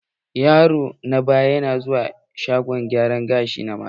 Yaro na ba ya zuwa shagon gyara gashi na mata.